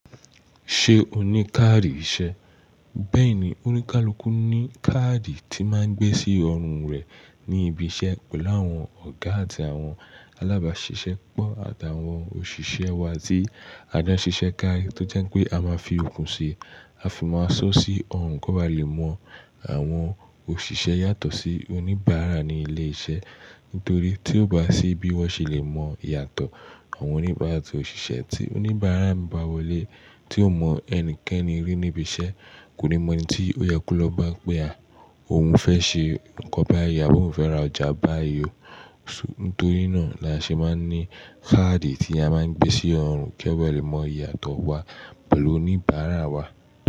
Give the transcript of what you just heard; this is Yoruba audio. Ṣé o ní káàdì iṣẹ́? Bẹ́ẹ̀ni, onikalukun ní káàdì tí máa ń gbé sí ọrùn rẹ̀ ní ibi iṣẹ́ pẹ̀lú àwọn ọ̀gá àti àwọn alábáṣiṣẹ́pọ̀ àti àwọn òṣìṣẹ́ wa ti àjọ síṣẹ́ kárí tí ó jẹ́ pé a máa fi okùn ṣe a fi máa sọ́ sí ọrùn kó ba lè mọ àwọn òṣìṣẹ́ yàtọ̀ sí oníbàárà ní ilé iṣẹ́. Nítorí tí ò bá ṣì bí wọ́n ṣe lè mọ ìyàtọ̀ àwọn oníbàárà àti òṣìṣẹ́ tí oníbàárà ń bá wọlé tí ò mọ ẹnikẹ́ni rí níbi iṣẹ́, kò ní mọ̀ ẹni tí ó yẹ ko lọ́ bá pé à, òun fẹ́ ṣe nǹkan báyìí, abó oun fẹ́ ra ọjà báyii o. Nítorí náà la ṣe máa ń ní káàdì tí a máa ń gbé sí ọrùn kí o bá lè mọ ìyàtọ̀ wa pẹ̀lú oníbàárà wa.